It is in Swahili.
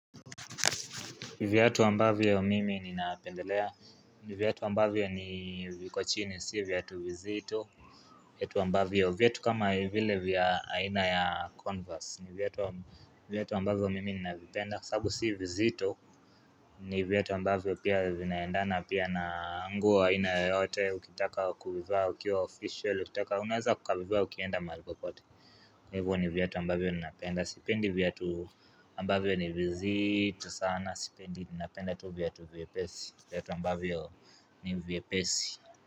Viatu ambavyo mimi ninapendelea, ni viatu ambavyo ni viko chini, si viatu vizito viatu ambavyo, viatu kama vile vya aina ya converse, viatu viatu ambavyo mimi ninavipenda kwa sababu si vizito, ni viatu ambavyo pia vinaendana pia na nguo aina yoyote ukitaka kuvivaa ukiwa official, ukitaka unaweza ukavivaa ukienda mahali popote Hivyo ni viatu ambavyo ninapenda sipendi viatu ambavyo ni vizito sana sipendi ninapenda tu viatu vyepesi viatu ambavyo ni vyepesi.